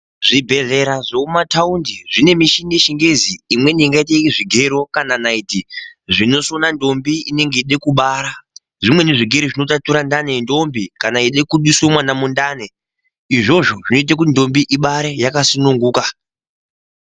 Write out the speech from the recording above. Zvibhedhlera zvemumataundi zvinemichini yechingezi imweni ingaite zvigero kana naiti. Zvinosona ndombi inenge yeide kubara, zvimweni zvigero zvinotatira ndani yendombi kana yeide kubiswe mwana mundani. Izvozvo zvinote kuti ndombi ibere yakasununguka.